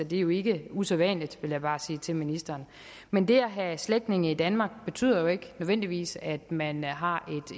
det er jo ikke usædvanligt vil jeg bare sige til ministeren men det at have slægtninge i danmark betyder jo ikke nødvendigvis at man har